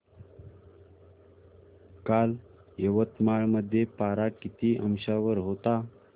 काल यवतमाळ मध्ये पारा किती अंशावर होता